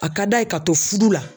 A ka d'a ye ka to fudu la.